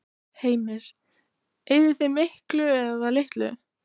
Heimir: Eyðið þið miklu eða litlu?